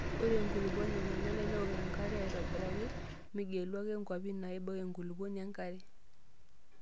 Ore enkulupuoni nenare newok enkare aitobiraki .Migelu ake nkwapi naibook enkulupuoni enkare.